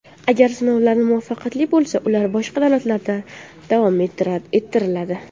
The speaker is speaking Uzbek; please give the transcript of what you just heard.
Agar sinovlar muvaffaqiyatli bo‘lsa, ular boshqa davlatlarda davom ettiriladi.